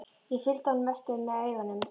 Ég fylgdi honum eftir með augunum.